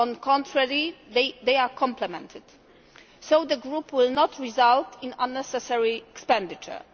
On the contrary, they are complementary. So the group will not result in unnecessary expenditure.